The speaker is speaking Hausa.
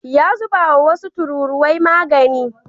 Ya zubawa wasu tururuwai magani.